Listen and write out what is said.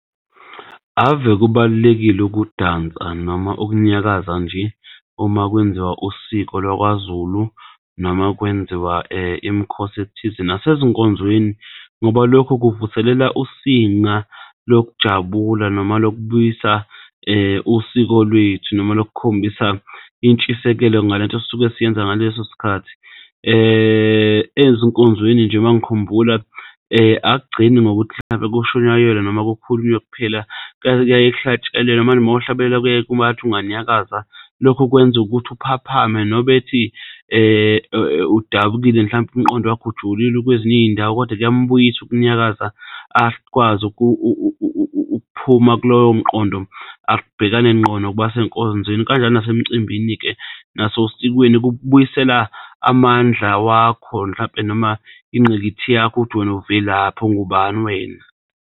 Ave kubalulekile ukudansa noma ukunyakaza nje uma kwenziwa usiko laKwaZulu, noma kwenziwa imikhosi ethize nasezinkonzweni ngoba lokho kuvuselela usinga lokujabula noma lokubuyisa usiko lwethu noma loku kukhombisa intshisekelo ngalento sisuke siyenza ngaleso sikhathi. Ezinkonzweni nje uma ngikhumbula akugcini ngokuthi mhlawumpe kushunyayelwe noma kukhulunywe kuphela, kuyaye kuhlatshelelwe manje uma uhlabelela kuba ngathi unganyakaza. Lokho kwenza ukuthi uphaphame. Nobethi udabukile mhlawumpe umqondo wakhe ujulile kwezinye iy'ndawo kodwa kuyambuyisa ukunyakaza. Akwazi ukuphuma kuloyo mqondo. Abhekane nqo nokubasenkonzweni kanjalo nase mcimbini-ke naso sikweni kukubuyisela amandla wakho mhlampe noma ingqikithi yakho ukuthi wena uvelaphi, ungubani wena.